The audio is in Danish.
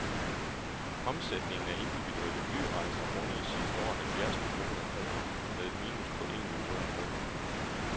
Omsætningen af individuelle flyrejser rundede sidste år halvfjerds millioner kroner med et minus på en million kroner.